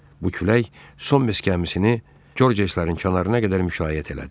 Bu külək son məskəməsini Georgeslərin kənarına qədər müşayiət elədi.